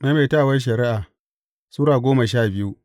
Maimaitawar Shari’a Sura goma sha biyu